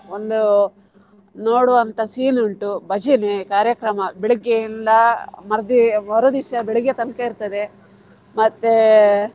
ಒಂದು ನೋಡುವ ಅಂತ scene ಉಂಟು ಭಜನೆ ಕಾರ್ಯಕ್ರಮ ಬೆಳಿಗ್ಗೆಇಂದ ಮರ್ದಿ~ ಮರುದಿವಸ ಬೆಳಿಗ್ಗೆ ತನಕ ಇರ್ತದೆ ಮತ್ತೆ.